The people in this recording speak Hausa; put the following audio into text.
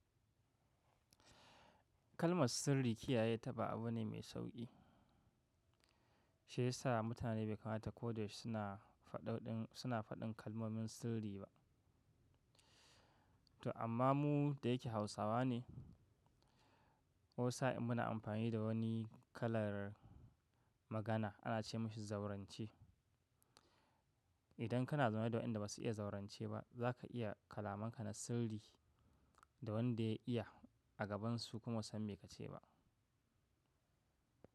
Kalmar sirri kiyaye ta ba abu bane mai sauƙi. Shi yasa mutane bai kamata ko da yaushe suna faɗin kalmomin sirri ba. To amma mu da yake Hausawa ne, wasu sa in muna amfani da wani kalar magana ana ce mishi zaurance. Idan kana zaune da waɗanda ba su iya zaurance ba, za ka iya kalamanka na sirri da wanda ya iya a gabansu kuma basu san me ka ce ba.